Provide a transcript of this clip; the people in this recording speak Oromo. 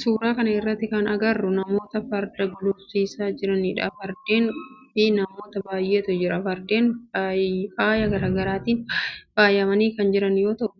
Suuraa kana irratti kan agarru namoota farda gulufsiisaa jiranidha. Fardeen fi namoota baayyeetu jira. Fardeen faaya garaagaraatiin faayamanii kan jiran yoo ta'u